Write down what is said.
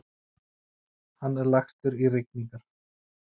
Hann er lagstur í rigningar.